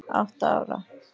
Átta ára